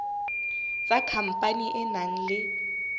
tsa khampani e nang le